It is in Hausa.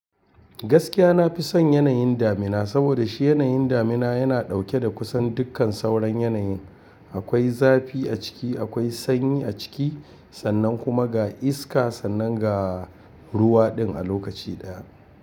Gaskiya na fi son yanayin damina saboda shi yanayin damina yana ɗauke da kusan dukkan sauran yanayin. Akwai zafi a ciki, akwai sanyi a ciki, sannan kuma ga iska sannan ga ruwa din a lokaci ɗaya.